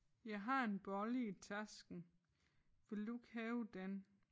Jeg har en bolle i tasken vil du ikke have den?